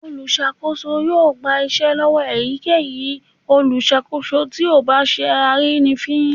Olùsakoso yóò gba iṣẹ lọwọ eyikeyí olùsanwo tí o bá sẹ arínifín